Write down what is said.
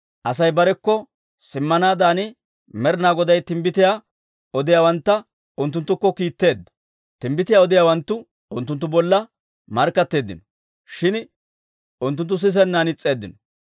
Asay barekko simmanaadan Med'inaa Goday timbbitiyaa odiyaawantta unttunttukko kiitteedda; timbbitiyaa odiyaawanttu unttunttu bolla markkatteeddino; shin unttunttu sisennan is's'eeddino.